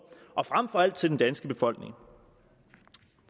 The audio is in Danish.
og frem for alt til den danske befolkning